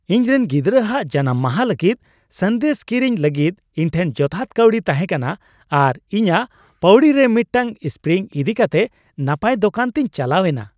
ᱤᱧᱨᱤᱱ ᱜᱤᱫᱽᱨᱟᱹ ᱦᱟᱜ ᱡᱟᱱᱟᱢ ᱢᱟᱦᱟ ᱞᱟᱹᱜᱤᱫ ᱥᱟᱸᱫᱮᱥ ᱠᱤᱨᱤᱧ ᱞᱟᱹᱜᱤᱫ ᱤᱧ ᱴᱷᱮᱱ ᱡᱚᱛᱷᱟᱛ ᱠᱟᱹᱣᱰᱤ ᱛᱟᱦᱮᱸ ᱠᱟᱱᱟ ᱟᱨ ᱤᱧᱟᱹᱜ ᱯᱟᱹᱣᱲᱤ ᱨᱮ ᱢᱤᱫᱴᱟᱝ ᱥᱯᱨᱤᱝ ᱤᱫᱤ ᱠᱟᱛᱮ ᱱᱟᱯᱟᱭ ᱫᱳᱠᱟᱱ ᱛᱤᱧ ᱪᱟᱞᱟᱣ ᱮᱱᱟ ᱾